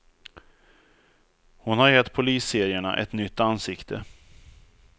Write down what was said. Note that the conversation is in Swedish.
Hon har gett polisserierna ett nytt ansikte.